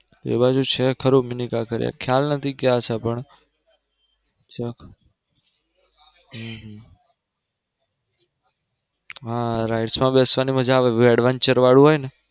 એ બાજુ છે ખરું mini કાંકરિયા ખ્યાલ નથી હશે ક્યાંક હા rides માં બેસવાની મજા આવે adventure વાળું હોય ને.